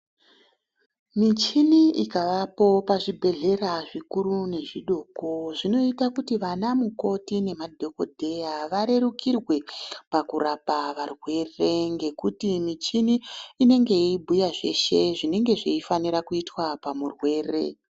Michini ikavapo pazvibhedhlera zvikuru nezvidoko zvinoita kuti vana mukoti nemadhokodheya varerukirwe pakurapa varwere ngekuti michini inenge yeibhuya zveshe zvinenge zveifanira kuitwa pamurwere.